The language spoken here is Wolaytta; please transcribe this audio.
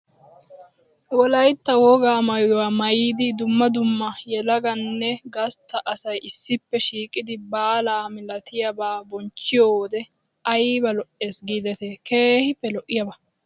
Wolaytta wogaa maayuwa maayidi dumma dumma yelaganne gastta asay issippe shiiqidi baalaa milatiyabaa bonchchiyo wode ayba lo"ees giidetii keehippe lo"iyaba.